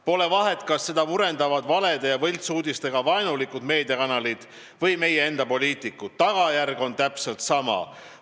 Pole vahet, kas seda murendavad valede ja võltsuudistega vaenulikud meediakanalid või meie enda poliitikud, tagajärg on täpselt sama.